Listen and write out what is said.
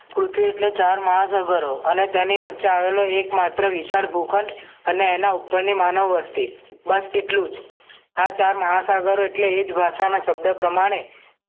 પૃથ્વી એટલે ચાર મહા સાગરો અને તેની વચ્ચે આવેલો એકમાત્ર વિશાળ ગુફન અને અને એના ઉપરની માનવ વસ્તી બસ એટલું જ આ ચાર મહા સાગરો એટલે એજ ભાષાના શબ્દો પ્રમાણે